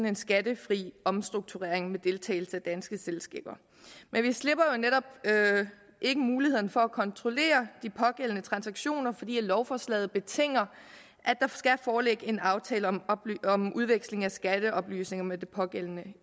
en skattefri omstrukturering med deltagelse af danske selskaber men vi slipper jo netop ikke mulighederne for at kontrollere de pågældende transaktioner fordi lovforslaget betinger at der skal foreligge en aftale om udveksling af skatteoplysninger med det pågældende